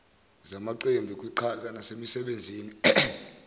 zamaqembu kwiqhaza nasemisebenzini